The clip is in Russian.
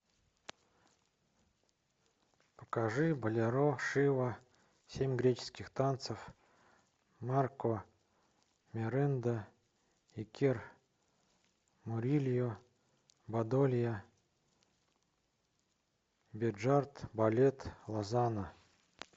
покажи болеро шива семь греческих танцев марко меренда икер мурильо бадолья бежарт балет лозанна